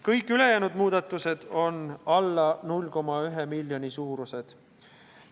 Kõik ülejäänud muudatused on alla 0,1 miljoni euro suurused.